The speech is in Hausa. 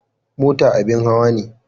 Mota abin hawa ne.